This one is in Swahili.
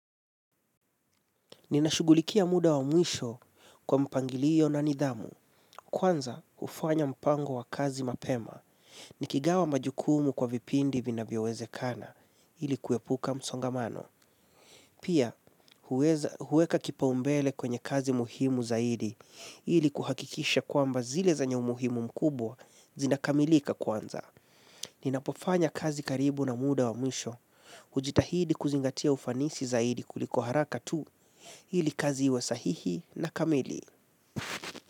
Ninashughulikia muda wa mwisho kwa mpangilio na nidhamu, kwanza hufanya mpango wa kazi mapema, nikigawa majukumu kwa vipindi vinavyowezekana, ili kuwepuka msongamano. Pia, huweka kipaumbele kwenye kazi muhimu zaidi, ili kuhakikisha kwamba zile zenye umuhimu mkubwa zinakamilika kwanza. Ninapofanya kazi karibu na muda wa mwisho hujitahidi kuzingatia ufanisi zaidi kuliko haraka tu. Hili kazi iwe sahihi na kamili.